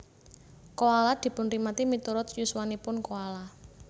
Koala dipunrimati miturut yuswanipun koala